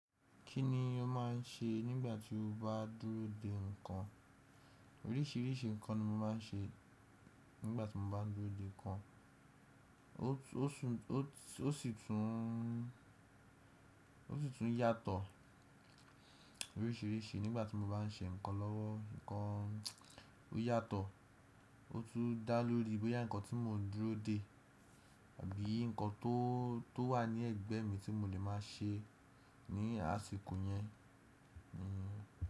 Kí ni o máà ń ṣe nígbà tí o bá dúró de ǹkan? Oríṣìríṣì ǹkan ni mo máa ń ṣe nígbà tí mo bá dúró de ǹkan. Ó sùn, ó sì tún, ó sì tún yàtọ̀ oríṣiríṣi nígbà tí mo bá n ṣe ǹkan lọ́wọ́. Ǹkan ó yàtọ̀, ó tún dá lórí bóyá ǹkan tí mo dúró de àbí ǹkan tó, tó wà ní ẹ̀gbẹ́ mi tí mo lè máa ṣe ní àsìkò yẹn ni.